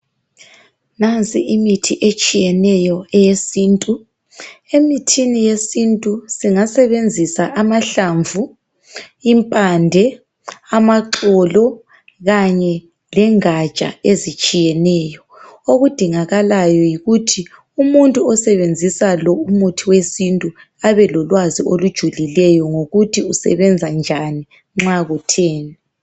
Nansi imithi etshiyeneyo eyesintu. Emithini yesintu singasebenzisa amahlamvu, impande, amaxolo kanye lengatsha ezitshiyeneyo. Okudingakalayo yikuthi umuntu osebenzisa lo umuthi wesintu abe lilwazi olujululeyo ngokuthi isebenza njani, nxa kutheni.